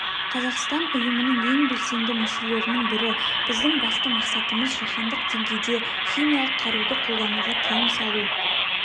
қазақстан ұйымның ең белсенді мүшелерінің бірі біздің басты мақсатымыз жаһандық деңгейде химиялық қаруды қолдануға тыйым салу